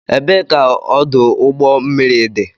Ebee ka ọdụ ụgbọ mmiri dị?